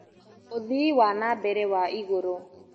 ũthii wana mbere wa igũrũ